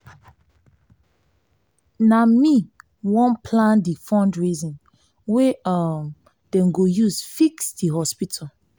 na me wan plan di fundraising wey um dem go use fix di hospital.